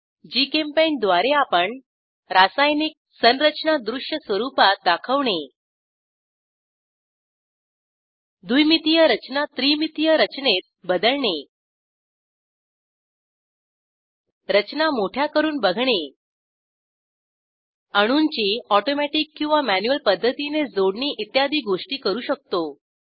GChemPaint द्वारे आपण रासायनिक संरचना दृश्य स्वरूपात दाखवणे द्विमितीय रचना त्रिमितीय रचनेत बदलणे रचना मोठ्या करून बघणे अणूंची अॅटोमॅटिक किंवा मॅन्युअल पध्दतीने जोडणी इत्यादी गोष्टी करू शकतो